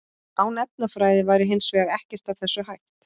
Án efnafræði væri hins vegar ekkert af þessu hægt.